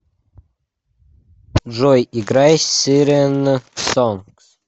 джой играй сирен сонг